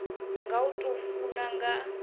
nga u tou funa nga